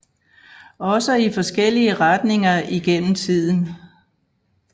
Også i forskellige retninger igennem tiden